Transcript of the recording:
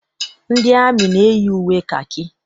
Ndị amị na- eyi uwe kakị.